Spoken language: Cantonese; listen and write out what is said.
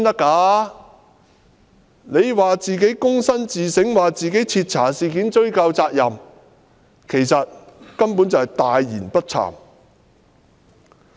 他說自己躬身自省，會徹查事件及追究責任，其實他根本是大言不慚。